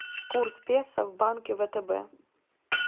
курс песо в банке втб